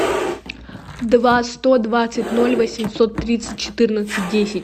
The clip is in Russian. два сто двадцать ноль восемьсот тридцать четырнадцать десять